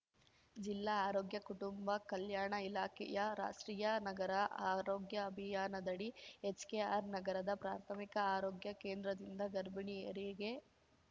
ಜಿಲ್ಲಾ ಆರೋಗ್ಯ ಕುಟುಂಬ ಕಲ್ಯಾಣ ಇಲಾಖೆಯ ರಾಷ್ಟ್ರೀಯ ನಗರ ಆರೋಗ್ಯ ಅಭಿಯಾನದಡಿ ಎಚ್‌ಕೆಆರ್‌ ನಗರದ ಪ್ರಾಥಮಿಕ ಆರೋಗ್ಯ ಕೇಂದ್ರದಿಂದ ಗರ್ಭಿಣಿಯರಿಗೆ